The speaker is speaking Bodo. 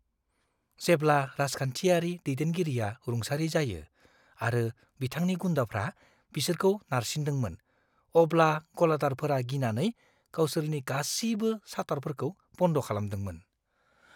जेब्ला राजखान्थियारि दैदेनगिरिआ रुंसारि जायो आरो बिथांनि गुन्दाफ्रा बिसोरखौ नारसिनदोंमोन, अब्ला गलादारफोरा गिनानै गावसोरनि गासिबो शाटारफोरखौ बन्द खालामदोंमोन।